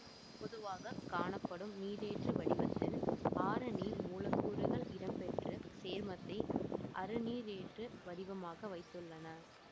பொதுவாக காணப்படும் நீரேற்று வடிவத்தில் ஆறு நீர் மூலக்கூறுகள் இடம்பெற்று சேர்மத்தை அறுநீரேற்று வடிவமாக வைத்துள்ளன